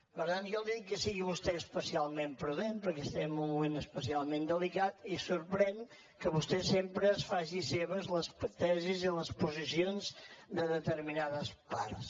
per tant jo li dic que sigui vostè especialment prudent perquè estem en un moment especialment delicat i sorprèn que vostè sempre es faci seves les tesis i les posicions de determinades parts